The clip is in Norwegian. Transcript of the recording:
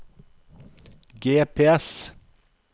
GPS